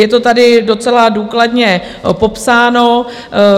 Je to tady docela důkladně popsáno.